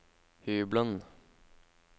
hybelen